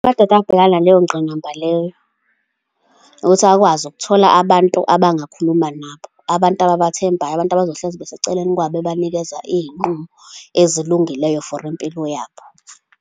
Amadoda abhekana naleyo ngqinamba leyo, ukuthi akwazi ukuthola abantu abangakhuluma nabo, abantu ababathembeyo, abantu abazohlezi beseceleni kwabo, bebanikeza iy'nqumo ezilungileyo for impilo yabo.